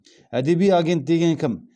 әдеби агент деген кім